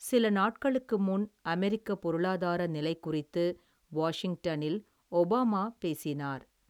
சில நாட்களுக்கு முன், அமெரிக்க பொருளாதார நிலை குறித்து, வாஷிங்டனில், ஒபாமா பேசினார்.